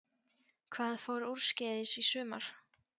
Hvað fór úrskeiðis í sumar?